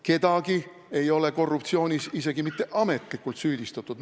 Kedagi ei ole korruptsioonis isegi mitte ametlikult süüdistatud.